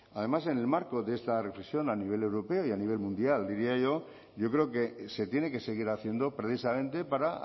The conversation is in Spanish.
además en el marco de esta reflexión a nivel europeo y a nivel mundial diría yo yo creo que se tiene que seguir haciendo precisamente para